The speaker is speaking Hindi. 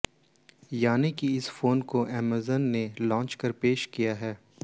यानि कि इस फोन को अमेजन ने जांच कर पेश किया है